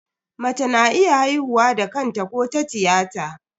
Mace na iya haihuwa da kanta ko ta tiyata.